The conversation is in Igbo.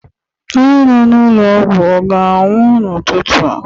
onye nọ n'ụlọ ọgwụ ọ ga-anwụ n'ụtụtụ a?